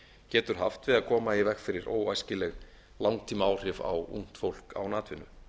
getur haft til að koma í veg fyrir óæskileg langtímaáhrif á ungt fólk án atvinnu